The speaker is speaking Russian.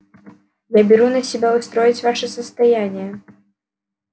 я беру на себя устроить ваше состояние